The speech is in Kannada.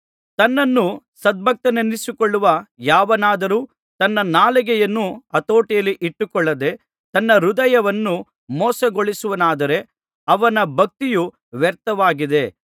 ತನ್ನನ್ನು ಸದ್ಭಕ್ತನೆಂದೆಣಿಸಿಕೊಳ್ಳುವ ಯಾವನಾದರೂ ತನ್ನ ನಾಲಿಗೆಯನ್ನು ಹತೋಟಿಯಲ್ಲಿ ಇಟ್ಟುಕೊಳ್ಳದೆ ತನ್ನ ಹೃದಯವನ್ನು ಮೋಸಗೊಳಿಸುವವನಾದರೆ ಅವನ ಭಕ್ತಿಯು ವ್ಯರ್ಥವಾಗಿದೆ